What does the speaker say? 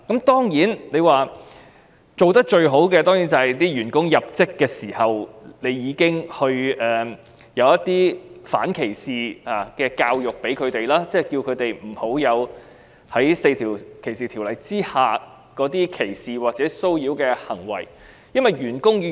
當然，最好是僱主在員工入職時已經提供反歧視的教育，提醒員工不要做出4項反歧視條例所訂的歧視或騷擾行為。